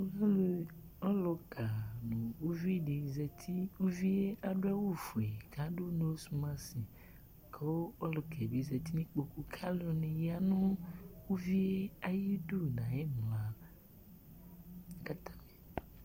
Ɔlʋƙa, uvi ɖɩ zati ,uvie ta ɖʋ awʋ fue, ƙʋ aɖʋ nosmasƘʋ ɔlʋƙa ƴɛ bɩ zati nʋ iƙpoƙu, ƙʋ alʋ ɛɖɩnɩ ƴa nʋ uvie aƴiɖu nʋ aƴʋ ɩmla